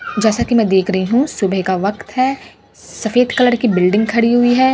जैसा की मैं देख रही हूं सुबह का वक्त है सफेद कलर की बिल्डिंग खड़ी हुई है।